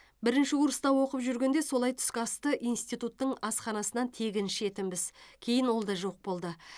бірінші курста оқып жүргенде солай түскі асты институттың асханасынан тегін ішетінбіз кейін ол да жоқ болды